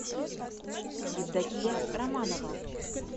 евдокия романова